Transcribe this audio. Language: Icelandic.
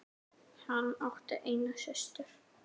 Hann átti eina systur.